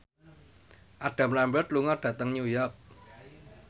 Adam Lambert lunga dhateng New York